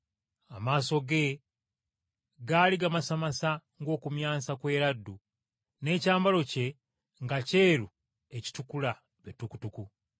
Amaaso ge gaali gamasamasa ng’okumyansa kw’eraddu, n’ekyambalo kye nga kyeru ekitukula be tukutuku.